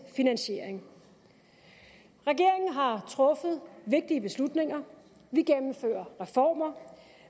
finansiering regeringen har truffet vigtige beslutninger vi gennemfører reformer